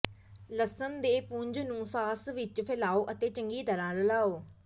ਲਸਣ ਦੇ ਪੁੰਜ ਨੂੰ ਸਾਸ ਵਿੱਚ ਫੈਲਾਓ ਅਤੇ ਚੰਗੀ ਤਰ੍ਹਾਂ ਰਲਾਉ